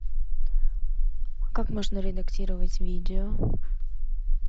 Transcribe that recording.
как можно редактировать видео